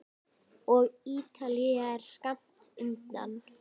Og Ítalía er skammt undan.